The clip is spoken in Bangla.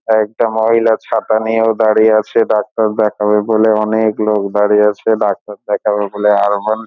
একটা মহিলা ছাতা নিয়ে দাঁড়িয়ে আছে। ডাক্তার দেখাবে বলে অনেক লোক দাঁড়িয়ে আছে। ডাক্তার দেখাবে বলে ।